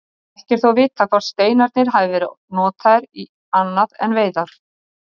Ekki er þó vitað hvort steinarnir hafi verið notaðir í annað en veiðar.